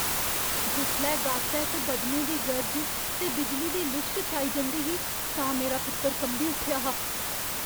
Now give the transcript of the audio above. जिसलै गासै च बदलें दी गर्ज ते बिजली दी लिश्क छाई दी ही तां मेरा पुत्तर कंबी उट्ठेआ हा।